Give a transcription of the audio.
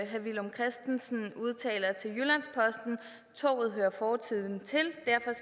herre villum christensen udtaler at toget hører fortiden til